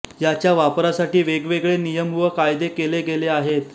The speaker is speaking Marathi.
याच्या वापरासाठी वेगवेगळे नियम व कायदे केले गेले आहेत